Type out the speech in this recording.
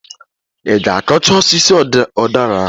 I g'akọcha osisi ụdara ahụ!